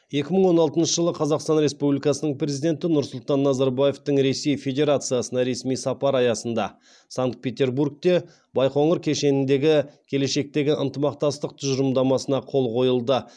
екі мың он алтыншы жылы қазақстан республикасының президенті нұрсұлтан назарбаевтың ресей федерациясына ресми сапары аясында санкт петербургте байқоңыр кешеніндегі келешектегі ынтымақтастық тұжырымдамасына қол қойылды